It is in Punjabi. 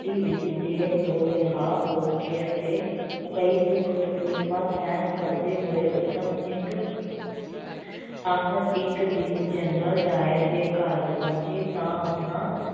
ਤੀ ਵਿੱਚ ਜੇਲ੍ਹ ਤੋ ਰਿਹਾ ਹੋ ਕੇ ਅਤੇ ਕਈ ਦੁੱਖ ਤਕਲੀਫ਼ਾਂ ਸਹਿਣ ਕਰਦੇ ਹੋਏ ਊਧਮ ਸਿੰਘ ਆਖ਼ਰ ਇੱਕ ਦਿਨ ਜਨਰਲ ਡਾਇਰ ਦੇ ਘਰ ਪਹੁੰਚੇ ਤਾਂ ਉਹਨਾਂ